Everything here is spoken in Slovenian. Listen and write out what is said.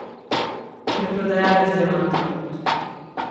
Preprodajalec diamantov.